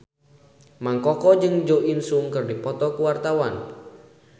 Mang Koko jeung Jo In Sung keur dipoto ku wartawan